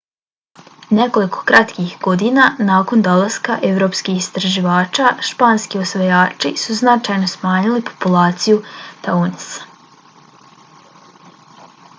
nekoliko kratkih godina nakon dolaska evropskih istraživača španski osvajači su značajno smanjili populaciju tainosa